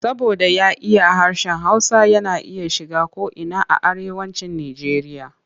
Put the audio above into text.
Saboda ya iya harshen Hausa yana iya shiga ko'ina a Arewacin Nijeriya.